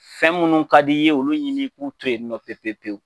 Fɛn minnu ka d'i ye olu ɲini i k'u to yen nɔ pewu pewu pewu